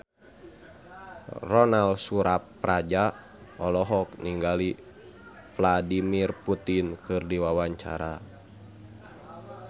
Ronal Surapradja olohok ningali Vladimir Putin keur diwawancara